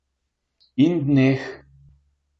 In dneh.